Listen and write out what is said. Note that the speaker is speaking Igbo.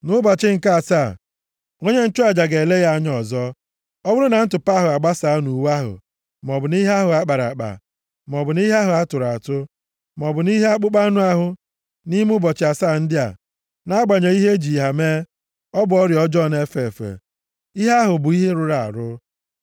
Nʼụbọchị nke asaa, onye nchụaja ga-ele ya anya ọzọ. Ọ bụrụ na ntụpọ ahụ agbasaa nʼuwe ahụ maọbụ nʼihe ahụ a kpara akpa, maọbụ nʼihe ahụ a tụrụ atụ, maọbụ nʼihe akpụkpọ anụ ahụ, nʼime ụbọchị asaa ndị a, nʼagbanyeghị ihe e ji ha eme, ọ bụ ọrịa ọjọọ na-efe efe. Ihe ahụ bụ ihe rụrụ arụ.